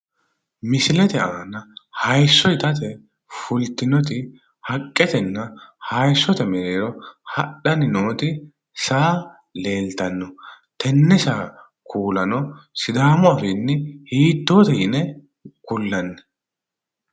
Misilete aana haayiso itate fultinoti haqqetenna haayisote mereero hadhanni nooti saa leeltanno, tenne saa kuulano sidaamu afiinni hiittote yine kulanni?